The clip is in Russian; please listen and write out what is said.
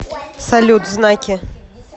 салют знаки